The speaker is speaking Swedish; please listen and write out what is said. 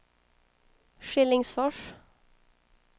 Skillingsfors